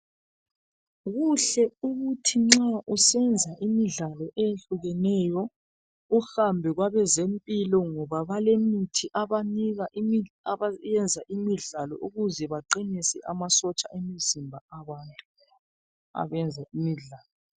Kuhle ukuthi nxa usenza imidlalo eyehlukeneyo uhambe kwabezempilo ngoba balemithi abanika abenza imidlalo ukuze baqinise amasotsha omzimba abantu abenza imidlalo.